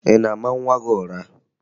Ị na-ama nwa gị ụra?